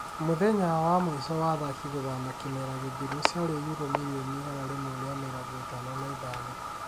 Mũthenya wa mũico wa athaki gũthama kĩmera gĩthiru ciarĩ yurũ mirioni igana rĩmwe rĩa mĩrongo ĩtano na ithano